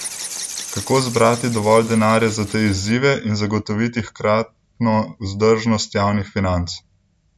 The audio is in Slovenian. Kako zbrati dovolj denarja za te izzive in zagotoviti hkratno vzdržnost javnih financ?